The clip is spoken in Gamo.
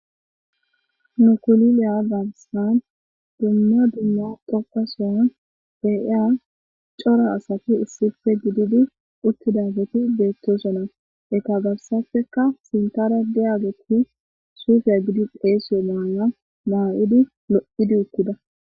nukuliliya zagisan dumma dumma doqasoyon deyia cora asati issife gididi uttidageti beettosona eka gabsafeka sintara di ageki suufiya gidi pheesiyo maala maa7idi lo7idi ukkida